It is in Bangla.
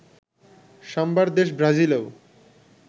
সাম্বার দেশ ব্রাজিলেও